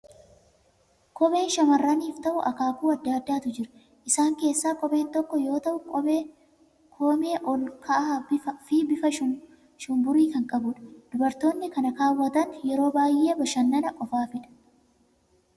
Kopheen shamarraniif ta'u akaakuu adda addaatu jira. Isaan keessaa kopheen kun tokko yoo ta'u, koomee ol ka'aa fi bifa shumburii kan qabudha. Dubartoonni kana kaawwatan yeroo baay'ee bashannana qofaafi dha.